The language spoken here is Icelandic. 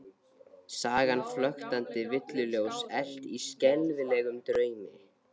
Sagan flöktandi villuljós elt í skelfilegum draumi?